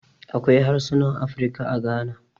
Akwai harsunan Afirka a Gana.